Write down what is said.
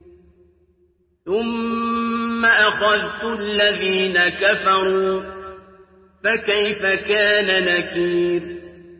ثُمَّ أَخَذْتُ الَّذِينَ كَفَرُوا ۖ فَكَيْفَ كَانَ نَكِيرِ